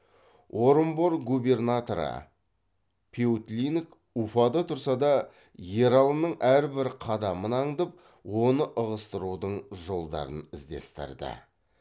орынбор губернаторы пеутлинг уфада тұрса да ералының әрбір қадамын аңдып оны ығыстырудың жолдарын іздестірді